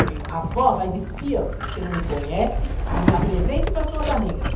Falei, avó, vai de espiã, você não me conhece, não me apresente para suas amigas.